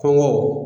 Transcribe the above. Kɔngɔ